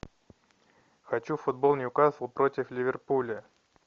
хочу футбол ньюкасл против ливерпуля